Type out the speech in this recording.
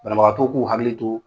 Banabagatɔw k'u hakili to